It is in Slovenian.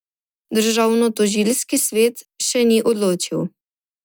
Državnotožilski svet še ni odločil.